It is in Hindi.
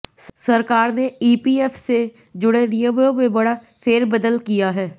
सरकार ने ईपीएफ से जुड़े नियमों में बड़ा फेरबदल किया है